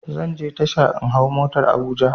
Zanje tasha in hau motar habuja